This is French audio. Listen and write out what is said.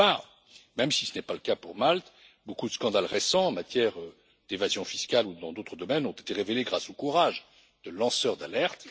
D'autre part, même si ce n'est pas le cas pour Malte, beaucoup de scandales récents en matière d'évasion fiscale ou dans d'autres domaines ont été révélés grâce au courage des lanceurs d'alerte.